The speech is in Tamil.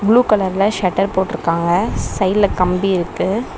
ப்ளூ கலர்ல ஷட்டர் போட்ருக்காங்க சைடுல கம்பி இருக்கு.